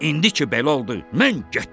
indi ki belə oldu, mən getdim.